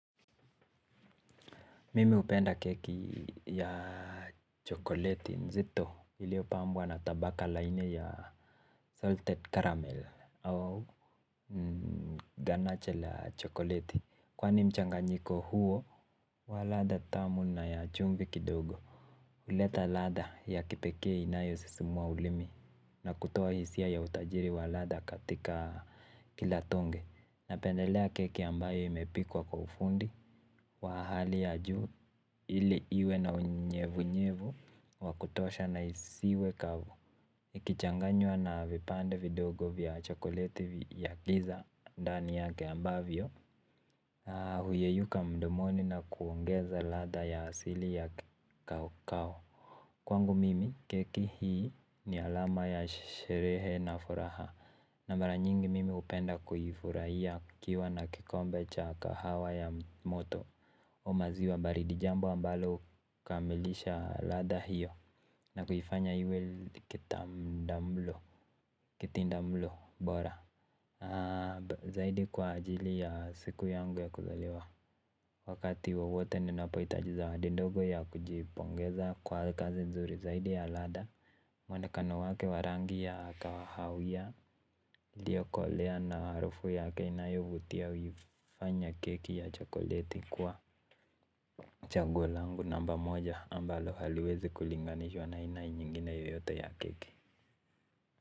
Mimi hupenda keki ya chokoleti nzito iliyopambwa na tabaka la aina ya salted caramel au ganacha la chokoleti kwani mchanganyiko huo wa ladha tamu na ya chumvi kidogo. Huleta lada ya kipekee inayo sisimua ulimi na kutoa hisia ya utajiri wa lada katika kila tonge. Napendelea keki ambayo imepikwa kwa ufundi wahali ya juu ili iwe na unyevu nyevu wakutosha na isiwe kavu ikichanganywa na vipande vidogo vya chokoleti ya giza ndani yake ambavyo huyeyuka mdomoni na kuongeza ladha ya asili ya kawakao. Kwangu mimi keki hii ni alama ya sherehe na furaha na mara nyingi mimi hupenda kuifurahia ikiwa na kikombe cha kahawa ya moto o maziwa baridi jambo ambalo kamilisha ladha hiyo na kuifanya iwe kitindamlo bora zaidi kwa ajili ya siku yangu ya kuzaliwa. Wakati wowote ninapohitaji zawadi ndogo ya kujipongeza kwa kazi nzuri zaidi ya lada. Mwonekano wake wa rangi ya kahawia lio kolea na harufu yake inayo vutia huifanya keki ya chokoleti kuwa chaguo laangu namba moja ambalo haliwezi kulinganishwa na ina nyingine yoyote ya keke.